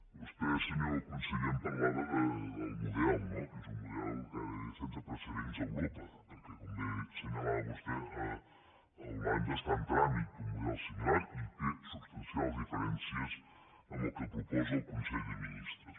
vostè senyor conseller em parlava del model no que és un model que ara en deia sense precedents a europa perquè com bé assenyalava vostè a holanda està en tràmit un model similar i té substancials diferències amb el que proposa el consell de ministres